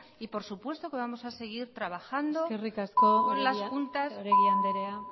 y por supuesto que vamos a seguir trabajando con las eskerrik asko oregi andrea